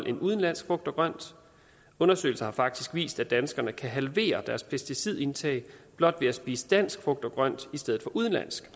end udenlandsk frugt og grønt undersøgelser har faktisk vist at danskerne kan halvere deres pesticidindtag blot ved at spise dansk frugt og grønt i stedet for udenlandsk